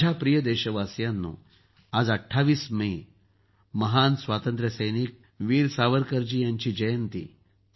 माझ्या प्रिय देशवासियांनो आज २८ मे महान स्वातंत्र्यसैनिक वीर सावरकरजी यांची जयंती आहे